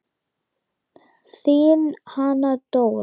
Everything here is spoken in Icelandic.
Þín Hanna Dóra.